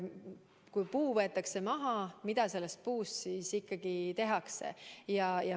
Kui puu võetakse maha, mida sellest puust siis ikkagi tehakse?